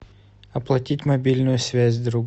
оплатить мобильную связь другу